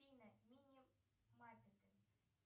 афина мини маппеты